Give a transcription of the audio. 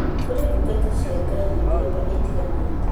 Kũrĩ ndungata cia Ngai mĩthemba ĩtiganĩte